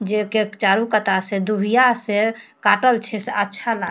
जे के चारु कता से दुबीया से काटल छै से अच्छा लाग --